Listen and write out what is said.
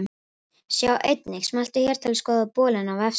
Sjá einnig: Smelltu hér til að skoða bolinn á vefsíðunni.